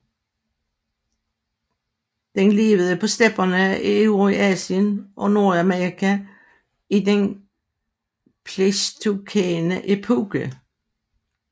Den levede på stepperne i Eurasien og Nordamerika i den pleistocæne epoke